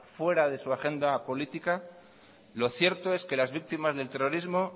fuera de su agenda política lo cierto es que las víctimas del terrorismo